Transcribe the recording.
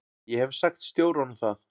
Ég hef sagt stjóranum það.